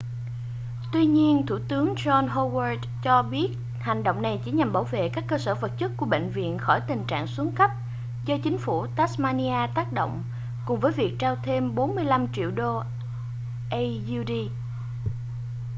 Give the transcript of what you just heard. tuy nhiên thủ tướng john howard cho biết hành động này chỉ nhằm bảo vệ các cơ sở vật chất của bệnh viện khỏi tình trạng xuống cấp do chính phủ tasmania tác động cùng với việc trao thêm $45 triệu aud